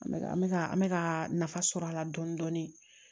An bɛ ka mɛka nafa sɔrɔ a la dɔɔni dɔɔni